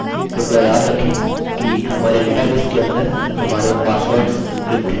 कृपया याद रखें कि हमारे डेटाबेस के अंदर हमारे पासवर्डस एन्क्रिप्ट हैं